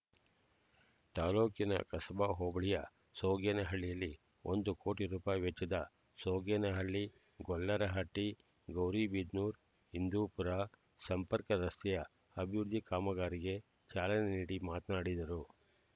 ತಾಲ್ಲೂಕಿನ ಕಸಬಾ ಹೋಬಳಿಯ ಸೋಗೇನಹಳ್ಳಿಯಲ್ಲಿ ಒಂದು ಕೋಟಿ ರೂಪಾಯಿ ವೆಚ್ಚದ ಸೋಗೇನಹಳ್ಳಿಗೊಲ್ಲರಹಟ್ಟಿಗೌರಿಬಿದನೂರುಹಿಂದೂಪೂರ ಸಂಪರ್ಕ ರಸ್ತೆಯ ಅಭಿವೃದ್ಧಿ ಕಾಮಗಾರಿಗೆ ಚಾಲನೆ ನೀಡಿ ಮಾತನಾಡಿದರು